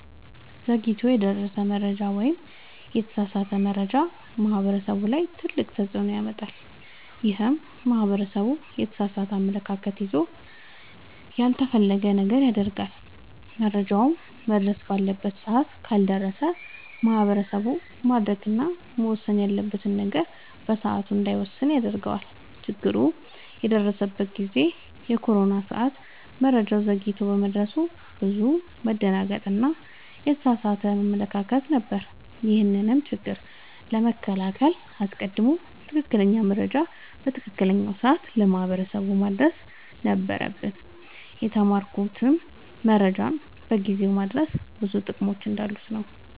ዘግይቶ የደረሰ መረጃ ወይም የተሳሳተ መረጃ ማህበረሰቡ ላይ ትልቅ ተፅዕኖ ያመጣል። ይህም ማህበረሰቡ የተሳሳተ አመለካከት ይዞ ያልተፈለገ ነገር ያደርጋል። መረጃውም መድረስ ባለበት ሰዓት ካልደረሰ ማህበረሰቡ ማድረግ እና መወሰን ያለበትን ነገር በሰዓቱ እንዳይወስን ያደርገዋል። ችግር የደረሰበት ጊዜ የኮሮና ሰዓት መረጃው ዘግይቶ በመድረሱ ብዙ መደናገጥ እና የተሳሳተ አመለካከት ነበር። ይህንንም ችግር ለመከላከል አስቀድሞ ትክክለኛ መረጃ በትክክለኛው ሰዓት ለማህበረሰቡ ማድረስ ነበረብን። የተማርኩትም መረጃን በጊዜው ማድረስ ብዙ ጥቅሞች እንዳሉት ነወ።